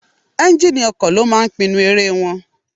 Ẹ́njíníì ọkọ̀ ló máa ń pinnu eré wọn.